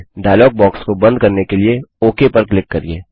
dialogue box को बंद करने के लिए ओक पर क्लिक करिये